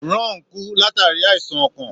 Ron kú, látàrí àìsàn ọkàn.